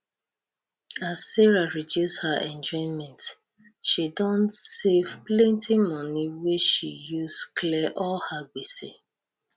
as sarah reduce her enjoyment she don save plenty money wey she use clear all her gbese